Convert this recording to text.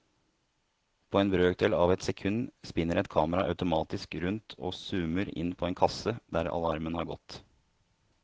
På en brøkdel av et sekund spinner et kamera automatisk rundt og zoomer inn på en kasse der alarmen har gått.